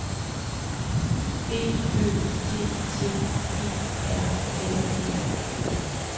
B Ø T T E R N E